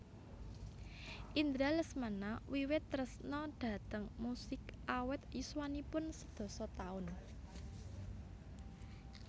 Indra Lesmana wiwit tresna dhateng musik awit yuswaniun sedasa taun